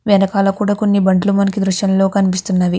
వెనకాల కూడా కొన్ని బండ్లు మనకి దృశ్యం లో కనిపిస్తున్నవి.